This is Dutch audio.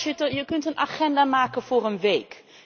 Voorzitter, je kunt een agenda maken voor een week.